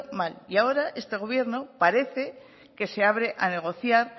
mal y ahora este gobierno parece que se abre a negociar